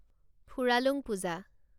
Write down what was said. Phuralung Puja